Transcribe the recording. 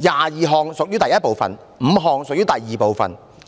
：22 項屬於第一部分 ，5 項屬於第二部分。